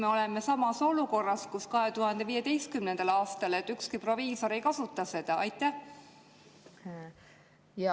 Ega me ei ole samas olukorras nagu 2015. aastal, nii et ükski proviisor ei hakka seda kasutama?